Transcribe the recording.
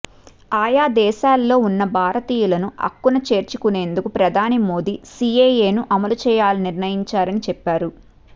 ఆయా దేశాల్లో ఉన్న భారతీయులను అక్కున చేర్చుకునేందుకు ప్రధాని మోడీ సీఏఏను అమలు చేయాలని నిర్ణయించారని చెప్పారు